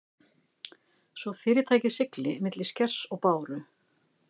svo fyrirtækið sigli milli skers og báru.